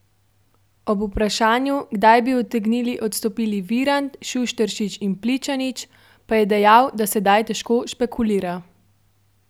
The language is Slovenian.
Ob vprašanju, kdaj bi utegnili odstopili Virant, Šušteršič in Pličanič, pa je dejal, da sedaj težko špekulira.